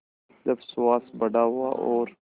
जब सुहास बड़ा हुआ और